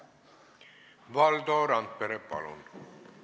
Valdo Randpere, palun!